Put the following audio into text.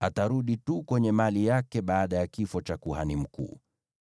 atarudi tu kwenye mali yake baada ya kifo cha kuhani mkuu.